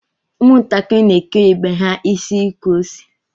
Ụmụ ntakịrị n'eke ibe ha isi ukwuose